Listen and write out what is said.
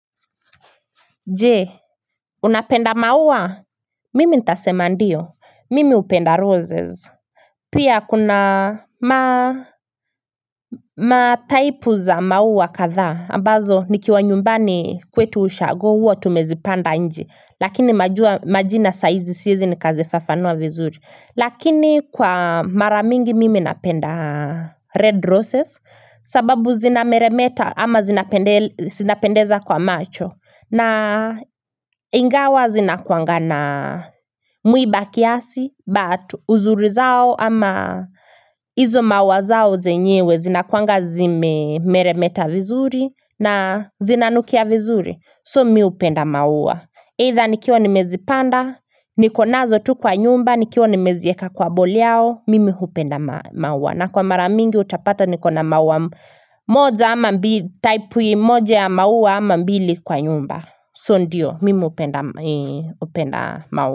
Je unapenda maua mimi nitasema ndio mimi hupenda roses pia kuna ma Mataipu za maua kadhaa ambazo nikiwa nyumbani kwetu ushago huwa tumezipanda nje lakini majina saizi siezi nikazifafanua vizuri lakini kwa mara mingi mimi napenda red roses sababu zinameremeta ama zinapendeza kwa macho na ingawa zinakuanga na mwiba kiasi But uzuri zao ama izo mauwa zao zenyewe zinakuanga zimemeremeta vizuri na zinanukia vizuri So mimi hupenda maua Eitha nikiwa nimezipanda Nikonazo tu kwa nyumba nikiwa nimezieka kwa bowl yao Mimi hupenda maua na kwa mara mingi utapata niko na mauwa moja ama mbili Taipu moja ya mauwa ama mbili kwa nyumba So ndiyo mimi hupenda mauwa.